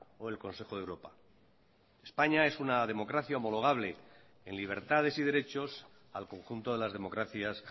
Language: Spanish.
o el consejo de europa españa es una democracia homologable en libertades y derechos al conjunto de las democracias